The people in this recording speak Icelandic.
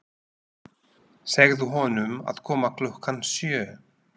Segðu honum að koma klukkan sjö.